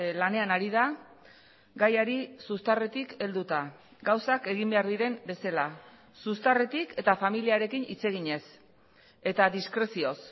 lanean ari da gaiari zuztarretik helduta gauzak egin behar diren bezala zuztarretik eta familiarekin hitz eginez eta diskrezioz